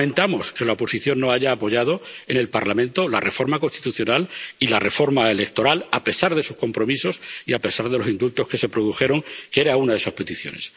Lamentamos que la oposición no haya apoyado en el Parlamento la reforma constitucional y la reforma electoral, a pesar de sus compromisos y a pesar de los indultos que se produjeron, que eran una de sus peticiones.